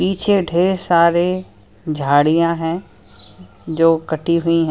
पीछे ढेर सारे झाड़ियां हैं जो कटी हुई है।